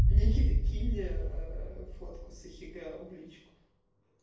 никита кинь фотку с ахегао в личку